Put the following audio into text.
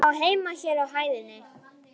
Ég á heima hér á hæðinni.